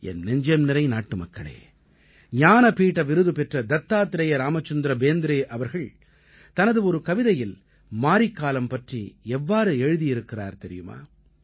என் நெஞ்சம் நிறை நாட்டுமக்களே ஞானபீட விருது பெற்ற தத்தாத்ரேய ராமச்சந்திர பேந்த்ரே அவர்கள் தனது ஒரு கவிதையில் மாரிக்காலம் பற்றி எவ்வாறு எழுதியிருக்கிறார் தெரியுமா